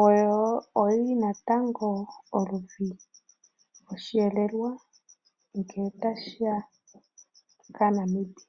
Oyo yi li natango oludhi lwosheelelwa ngele tashi ya kaaNamibia.